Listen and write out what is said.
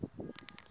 wu tala ku va wu